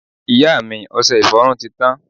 ìyá mi, ọsẹ ìfọrún ti tan